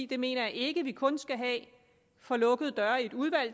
det mener jeg ikke at vi kun skal have for lukkede døre i et udvalg